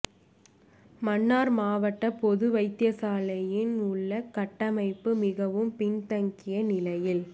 மன்னார் மாவட்ட பொது வைத்தியசாலையின் உள்ளக கட்டமைப்பு மிகவும் பின் தங்கிய நிலையில்